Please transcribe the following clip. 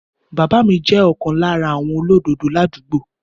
Bàbá mi jẹ́ ọ̀kan lára àwọn olódodo ládùúgbò.